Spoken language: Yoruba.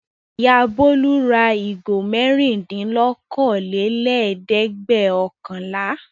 Ìyá Bólú ra ìgò mẹ́rindínlókòólélẹ́ẹ̀dẹ́gbẹ̀ọ̀kànlá.